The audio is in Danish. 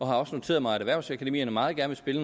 har også noteret mig at erhvervsakademierne meget gerne vil